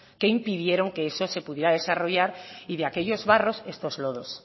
que impidieron que eso se pudiera desarrollar y de aquellos barros estos lodos